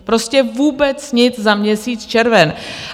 Prostě vůbec nic za měsíc červen.